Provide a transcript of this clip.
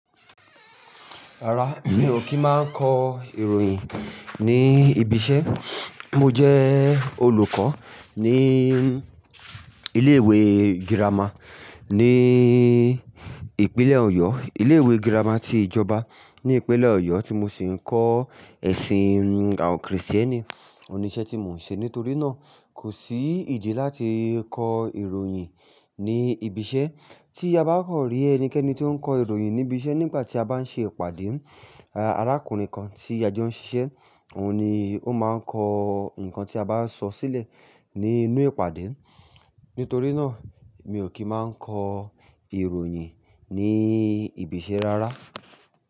Rárá, mi ò kí máa n kọ ìròyìn ní ibi iṣẹ́. Mo jẹ́ olùkọ́ ní ilé ìwé girama ní ìpínlẹ̀ Ọ̀yọ́. Ilé ìwé girama ti ìjọba ní ìpínlẹ̀ Ọ̀yọ́ tí mo sì ń kọ ẹ̀sìn àwọn Krìstẹ́nì. Òní iṣẹ́ tí mò ń ṣe nítorí náà kò sí ìdí láti kọ ìròyìn ní ibi iṣẹ́. Tí a bá kan rí ẹnikẹ́ni ti o ń kọ ìròyìn ní ibi iṣẹ́ nígbà tí a bá ń ṣe ìpàdé, arákùnrin kan tí a jo ń ṣiṣẹ́, òun ni ó máa kọ nǹkan tí a bá sọ sílẹ̀ ní inú ìpàdé. Nítorí náà, mi ò kí máa kọ ìròyìn ní ibi iṣẹ́ rárá.